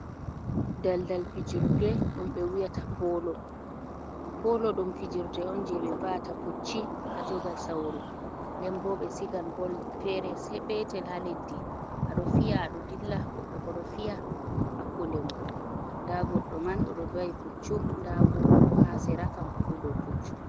Balbal fijurde, ɗum be wi'ata polo, polo ɗum fijrde on je be va’ta pucci a jogal sauru, nden bo ɓe sigan bol fere se petel ha leddi aɗo fiya ado dilla, goɗɗo boo ɗo fiya, hakkunde mon da goɗɗ man oɗo va'i puccu, nda goto bo ha sera kan hofu dow puccu.